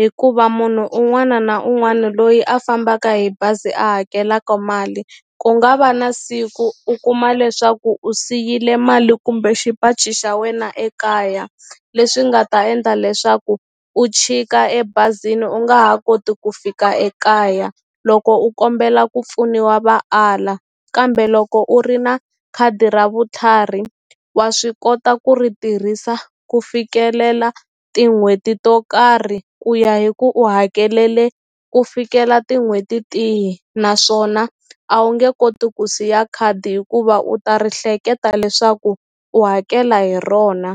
hikuva munhu un'wana na un'wana loyi a fambaka hi bazi a hakelaka mali ku nga va na siku u kuma leswaku u siyile mali kumbe xipachi xa wena ekaya leswi nga ta endla leswaku u chika ebazini u nga ha koti ku fika ekaya loko u kombela ku pfuniwa va ala kambe loko u ri na khadi ra vutlhari wa swi kota ku ri tirhisa ku fikelela tin'hweti to karhi ku ya hi ku u hakelele ku fikela tin'hweti tihi naswona a wu nge koti ku siya khadi hikuva u ta ri hleketa leswaku u hakela hi rona.